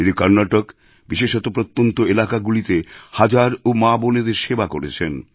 তিনি কর্ণাটকে বিশেষত প্রত্যন্ত এলাকাগুলিতে হাজারও মাবোনেদের সেবা করেছেন